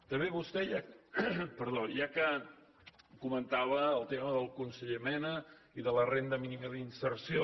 també vostè ja que comentava el tema del conseller mena i de la renda mínima d’inserció